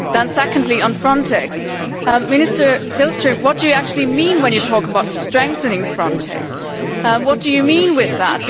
Then secondly, on Frontex, Minister Wallström, what do you actually mean when you talk about strengthening Frontex? What do you mean by that?